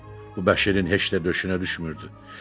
Bu Bəşirin heç də döşünə düşmürdü.